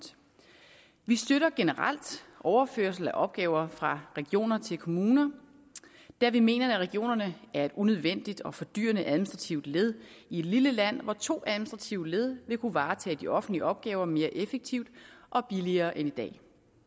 vi støtter generelt overførsel af opgaver fra regioner til kommuner da vi mener at regionerne er et unødvendigt og fordyrende administrativt led i et lille land hvor to administrative led ville kunne varetage de offentlige opgaver mere effektivt og billigere end i dag